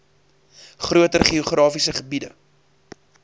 groter geografiese gebiede